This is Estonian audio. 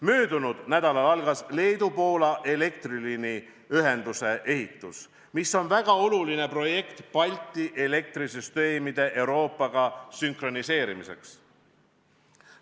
Möödunud nädalal algas Leedu–Poola elektriliiniühenduse ehitus, mis on väga oluline projekt Balti elektrisüsteemide Euroopaga sünkroniseerimiseks.